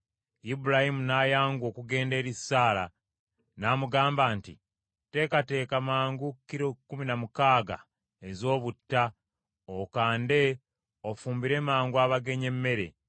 Ibulayimu n’ayanguwa okugenda eri Saala, n’amugamba nti, “Teekateeka mangu kilo kkumi na mukaaga ez’obutta okande ofumbire mangu abagenyi emmere.”